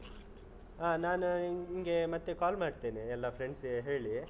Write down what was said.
ಆಹ್ ನಾನು ನಿಂಗೆ, ಮತ್ತೇ call ಮಾಡ್ತೇನೆ, ಎಲ್ಲಾ friends ಗೆ ಹೇಳಿ.